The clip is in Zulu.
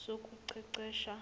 sokuqeqesha